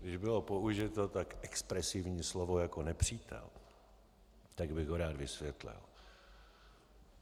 Když bylo použito tak expresivní slovo jako nepřítel, tak bych ho rád vysvětlil.